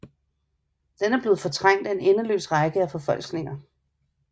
Den er blevet fortrængt af en endeløs række af forfalskninger